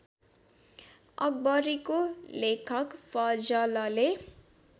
अकबरीको लेखक फजलले